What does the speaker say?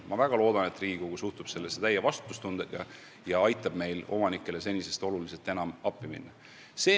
Ma väga loodan, et Riigikogu suhtub sellesse täie vastutustundega ja aitab meil omanikele senisest oluliselt enam appi minna.